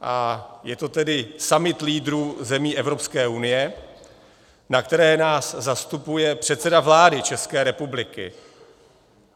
A je to tedy summit lídrů zemí Evropské unie, na kterém nás zastupuje předseda vlády České republiky.